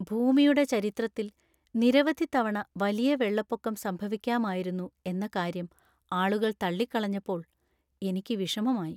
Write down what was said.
ഭൂമിയുടെ ചരിത്രത്തിൽ നിരവധി തവണ വലിയ വെള്ളപ്പൊക്കം സംഭവിക്കാമായിരുന്നു എന്ന കാര്യം ആളുകൾ തള്ളിക്കളഞ്ഞപ്പോൾ എനിക്ക് വിഷമമായി.